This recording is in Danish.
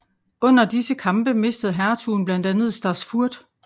Under disse kampe mistede hertugen blandt andet Stassfurt